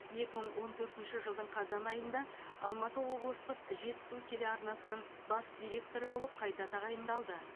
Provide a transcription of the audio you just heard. екі мың он төртінші жылдың қазан айында алматы облыстық жетісу телеарнасының бас директоры болып қайта тағайындалды